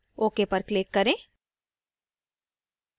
ok पर click करें